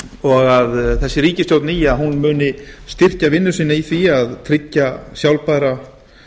og að þessi ríkisstjórn nýja muni styrkja vinnu sína í því að tryggja sjálfbæra